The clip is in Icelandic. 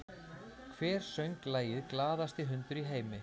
Hver söng lagið “Glaðasti hundur í heimi”?